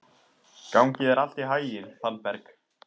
Gangi þér allt í haginn, Fannberg.